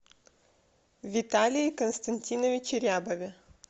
виталии константиновиче рябове